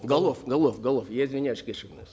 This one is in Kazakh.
голов голов голов я извиняюсь кешіріңіз